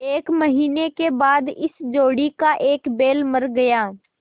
एक महीने के बाद इस जोड़ी का एक बैल मर गया